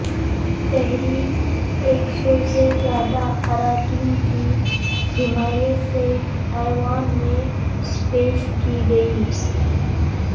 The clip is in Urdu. تحریک ایک سو سے زیادہ اراکین کی حمایت سے ایوان میں پیش کی گئی